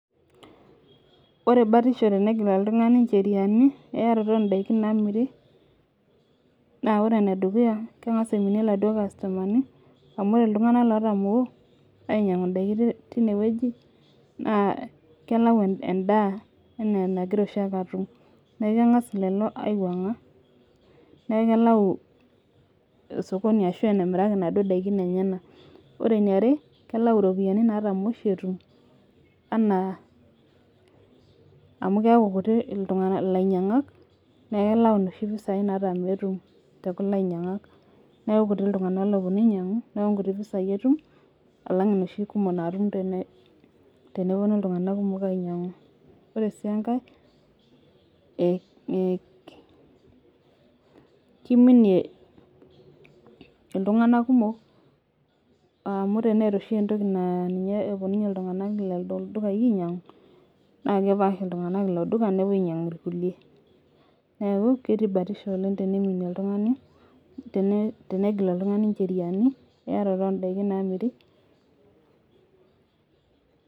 Ore batisho tenegil oltungani ncheriani eyarotoo oo daikin naamiri, naa ore ene dukuya keng'as aiminie iladuok kastomani. amu ore iltunganak lotamoo. ainyiangu daikin teine wueji naa kelau edaa anaa enagora oshi ake aatum. neeku keng'as lelo aiwuang'a, kelau sokoni ashu enemiraki inaduoo tokitin lenyenak. ore eniare, kelau iropiyiani natamoo shi etum anaa amu keeku kutik ilainyangak neku kelau inoshi pisai natamoo etum tekulo ainyiangaki. neeku kutik iltunganak oopuonu ainyiang'u. neeku nkuti pisai etum alang inoshi kumok natum tenepuonu iltunganak kumok ainyiang'u. ore sii enkae ee kiminie iltunganak kumok amu teneeta oshi entoki naapuonunye iltunganak lelo dukayi ainyiang. naa kepaash iltunganak ilo duka nepuo ainyiang irkulie. neelu ketii batisho oleng teneiminie oltungani. tenegil oltungani ncheriani eyarotoo oo ntokitin naamiri.